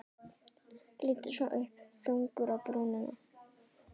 Lítur svo upp, þungur á brúnina.